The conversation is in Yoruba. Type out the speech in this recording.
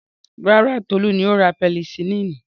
Rárá, Tolú ni ó ra pẹnisilínì.